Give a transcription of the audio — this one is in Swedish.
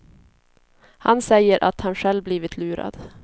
Han säger att han själv blivit lurad.